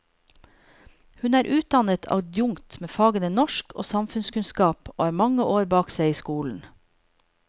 Hun er utdannet adjunkt med fagene norsk og samfunnskunnskap og har mange år bak seg i skolen.